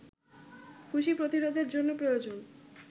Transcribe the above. খুশি প্রতিরোধের জন্য প্রয়োজন